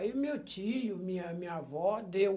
Aí o meu tio, minha minha avó, deu.